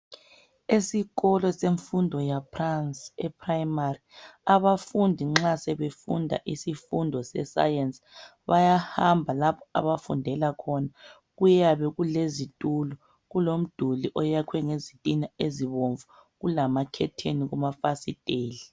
esikolo semfundo yaphansi e primary abafundi nxa sebefunda isifundo sescience bayahamba lapha abafundela khona kuyabe kulezitulo kulomduli oyakhwe ngezitina ezibomvu kulakhetheni kumafasiteli